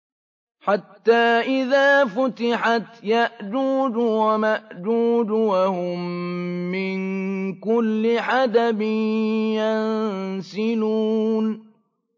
حَتَّىٰ إِذَا فُتِحَتْ يَأْجُوجُ وَمَأْجُوجُ وَهُم مِّن كُلِّ حَدَبٍ يَنسِلُونَ